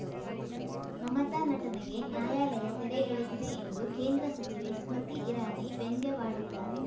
ಮಮತಾ ನಟನೆಗೆ ನ್ಯಾಯಾಲಯ ತೆರೆ ಎಳೆದಿದೆ ಎಂದು ಕೇಂದ್ರ ಸಚಿವೆ ಸ್ಮೃತಿ ಇರಾನಿ ವ್ಯಂಗ್ಯವಾಡಿದ್ದಾರೆ